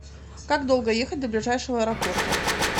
как долго ехать до ближайшего аэропорта